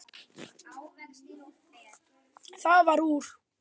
Það varð úr.